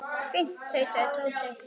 Fínt tautaði Tóti.